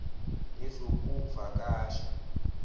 nezokuvakasha